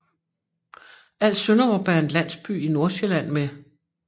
Alsønderup er en landsby i Nordsjælland med